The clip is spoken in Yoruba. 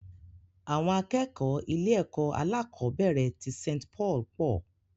Àwọn akẹ́kọ̀ọ́ ilé-ẹ̀kọ́ alákọ̀ọ́bẹ̀rẹ̀ tí Saint Paul pọ̀.